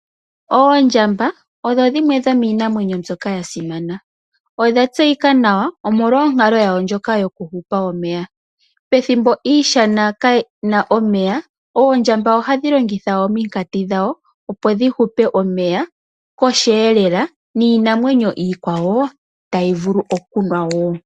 Oondjamba odho dhimwe dhomiinamwenyo mbyoka ya simana. Odha tseyika nawa, omolwa onkalo yadho ndjoka yokuhupa omeya. Pethimbo iishana kaayina omeya, ohadhi longitha omikati dhawo, opo dhihupe omeya kohi elela, niinamwenyo iikwawo tayi vulu okunwa wo.